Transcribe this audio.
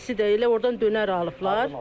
İkisi də elə ordan dönər alıblar.